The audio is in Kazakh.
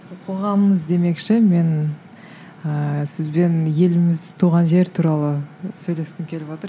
қоғамымыз демекші мен ыыы сізбен еліміз туған жер туралы сөйлескім келіп отыр